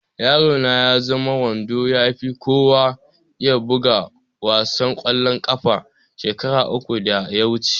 Yaro na ya zama wanda ya fi kowa iya buga wasan ƙwallon ƙafa shekara uku da ya wuce